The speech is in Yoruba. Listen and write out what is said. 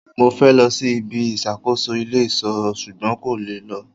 Mo fẹ́ lọ sí ibi ìṣàkóso ilé ìṣọ́ ṣugbọn n kò lè lọ